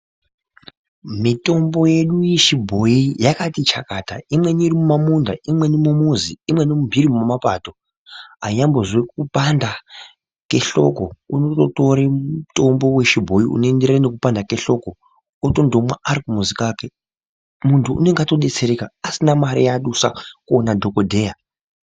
Mitombo yedu yechibhoyi yakati chakata. Imwe iri mumamunda, imweni mumuzi imweni mumhiri mwemapato anyambozwe kupanda kwehloko unondotore mutombo wechibhoyi unoenderana nekupanda kwehloko otondomwa ari kumuzi kwake, muntu unenge atodetsereka asina mare yadusa kuone dhokodheya.